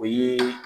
O ye